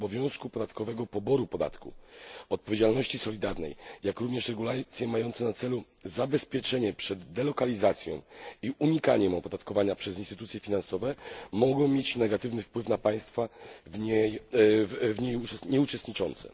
obowiązku podatkowego, poboru podatku, odpowiedzialności solidarnej, jak również regulacje mające na celu zabezpieczenie przed delokalizacją i unikaniem opodatkowania przez instytucje finansowe mogą mieć negatywny wpływ na państwa w niej nieuczestniczące.